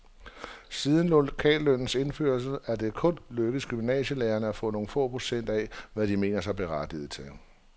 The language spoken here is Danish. Siden lokallønnens indførelse er det kun lykkedes gymnasielærerne at få nogle få procent af, hvad de mener sig berettiget til.